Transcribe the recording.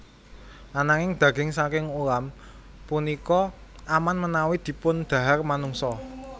Ananging daging saking ulam punika aman menawi dipundhahar manungsa